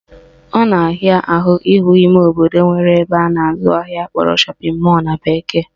Ọ na-ahịa ahụ ịhụ ime obodo nwere ebe a na-azụ ahịa akpọrọ shopping mall na bekee